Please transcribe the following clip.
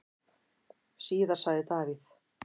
Síðar sagði Davíð: